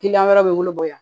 Kiliyan wɛrɛ bɛ wele bɔ